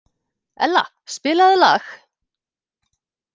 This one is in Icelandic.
Ella, spilaðu lag.